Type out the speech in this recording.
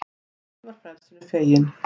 Kindin var frelsinu fegin